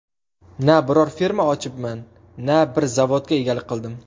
Na biror firma ochibman, na bir zavodga egalik qildim.